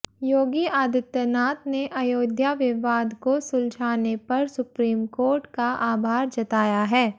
योगी आदित्यनाथ ने अयोध्या विवाद को सुलझाने पर सुप्रीम कोर्ट का आभार जताया है